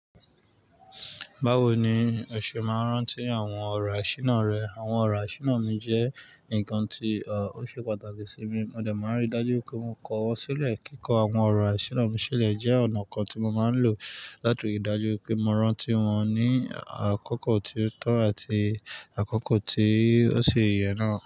Báwo ni ẹ̀ ṣee máa ń rántí àwọn ọ̀rọ̀ àṣínà rẹ? Àwọn ọ̀rọ̀ àṣínà mi jẹ́ nǹkan tí, ọ̀, ó ṣe pàtàkì sí mi. Mo dẹ̀ máa ń rí i dájú pé mo kọ́ wọn sílẹ̀. Kíkọ́ àwọn ọ̀rọ̀ àṣínà mi sílẹ̀ jẹ́ ọ̀nà kan tí mo máa ń lò láti rí i dájú pé mo rántí wọn ní àkókò tí ó tọ́ àti àkókò tí ó ṣi yè náà.